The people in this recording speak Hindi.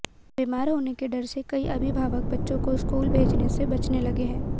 बीमार होने के डर से कई अभिभावक बच्चों को स्कूल भेजने से बचने लगे हैं